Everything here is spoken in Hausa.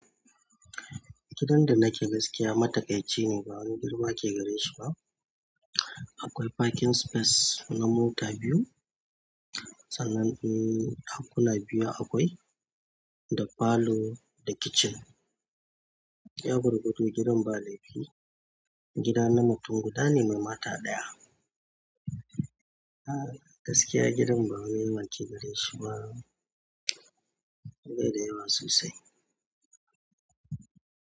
Gidan da nake gaskiya matakai ce ne, ba wani girma ke gare shi ba. Akwai parking space na mota biyu, sannan ɗakuna biyu akwai, da falo da kitchen. Ya gurgudu gidan ba laifi. Gida na mutum guda ne mai mata ɗaya. A gaskiya gidan ba wani yawa gare shi ba, beda yawa sosai.